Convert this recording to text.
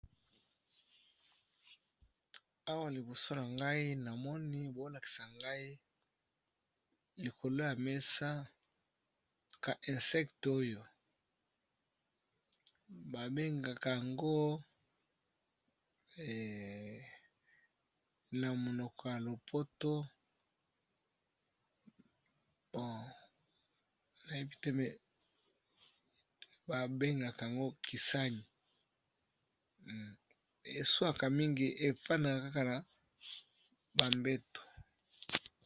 Awa liboso na ngai na moni bao lakisa ngai likolo ya mesa ka insecte oyo ba bengaka ango na monoko ya lopoto nayebi te mais ba bengaka yango kisani, eswaka mingi epanaka kaka na ba mbeto.